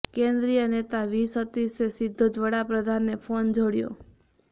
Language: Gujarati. કેન્દ્રીય નેતા વી સતીશે સીધો જ વડાપ્રધાનને ફોન જોડ્યો